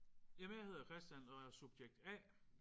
Jamen jeg hedder Christian og er subjekt A